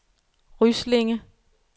Ryslinge